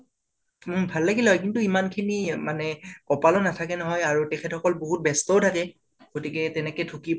উম ভালে লাগিলে হয় কিন্তু এমান খিনি মানে কপালো নাথাকে নহয় আৰু তেখেত সকল বাহুত ব্যস্তও থাকে । গাতিকে তেনেকে ঢুকি